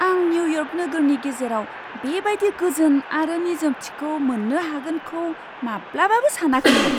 आं निउयर्क नोगोरनि गेजेराव बेबायदि गोजोन आरो निजोमथिखौ मोन्नो हागोनखौ माब्लाबाबो सानाखैमोन!